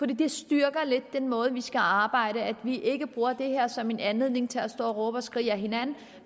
det styrker lidt den måde vi skal arbejde på at vi ikke bruger det her som en anledning til at stå og råbe og skrige ad hinanden